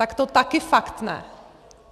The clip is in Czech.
Tak to taky fakt ne.